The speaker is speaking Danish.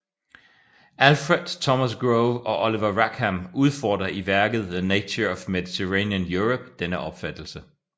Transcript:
Alfred Thomas Grove og Oliver Rackham udfordrer i værket The Nature of Mediterranean Europe denne opfattelse